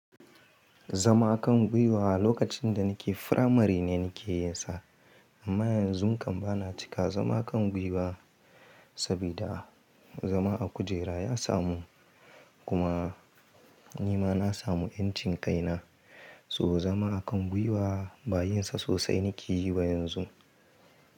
Zama kan gwiwa lokacin da nake firamari ne nake yin sa. Amma yanzu kam bana cika zama kan gwiwa sabida a zama a kujera ya samu. Kuma nima na samu yancin kai na. To zama a kan gwiwa ba yin sa sosai nike yi ba yanzu.